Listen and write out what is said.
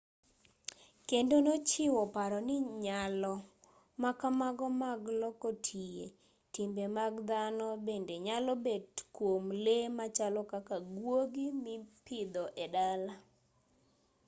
kendo nochiwo paro ni nyalo ma kamago mag loko tie timbe mag dhano bende nyalo bet kwom lee machalo kaka guogi mipidho e dala